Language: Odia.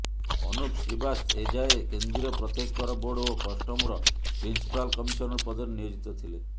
ଅନୁପ୍ ଶ୍ରୀବାସ୍ତ ଏଯାବତ୍ କେନ୍ଦ୍ରୀୟ ପ୍ରତ୍ୟେକ୍ଷ କର ବୋର୍ଡ ଓ କଷ୍ଟମର ପ୍ରିନ୍ସପାଲ କମିସନର ପଦରେ ନିୟୋଜିତ ଥିଲେ